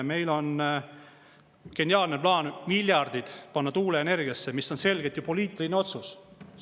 Meil on geniaalne plaan: miljardid panna tuuleenergiasse, mis on selgelt ju poliitiline otsus.